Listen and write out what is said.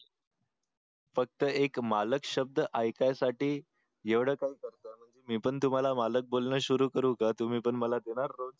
फक्त एक मालक शब्द अयिकायसाठी एवढे काही करता मी पण तुम्हाला मालक बोलणं सुरु करू का तुम्ही पण मला देणार रोज